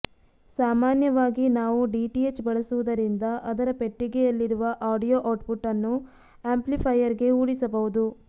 ಸಾಮಾನ್ಯವಾಗಿ ನಾವು ಡಿಟಿಎಚ್ ಬಳಸುವುದರಿಂದ ಅದರ ಪೆಟ್ಟಿಗೆಯಲ್ಲಿರುವ ಆಡಿಯೊ ಔಟ್ಪುಟ್ ಅನ್ನು ಆಂಪ್ಲಿಫೈಯರ್ಗೆ ಊಡಿಸಬಹುದು